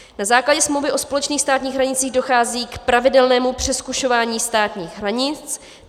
Na základě smlouvy o společných státních hranicích dochází k pravidelnému přezkušování státních hranic.